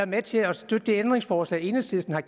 med til at støtte det ændringsforslag enhedslisten har